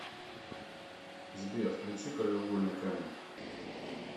сбер включи краеугольный камень